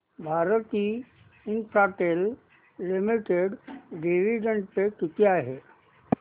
Bharti Infratel limited dividend पे किती आहे